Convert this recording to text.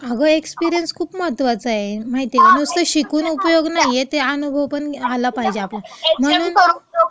अगं, एक्सपिरिअन्स खूप महत्त्वाचा आहे, माहितीय का! नुसतं शिकून उपयोग नाहीये, ते अनुभव पण आला पाहिजे आपल्याला.. म्हणून..